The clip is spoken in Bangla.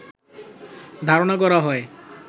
ধারণা করা হয়